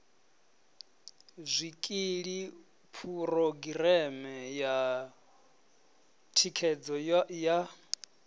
zwikili phurogireme ya thikhedzo ya